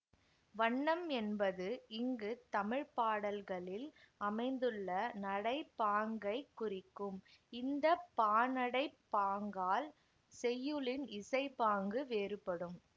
வண்ணம் என்பது இங்குத் தமிழ் பாடல்களில் அமைந்துள்ள நடைப்பாங்கைக் குறிக்கும் இந்த பாநடைப் பாங்கால் செய்யுளின் இசைப்பாங்கு வேறுபடும்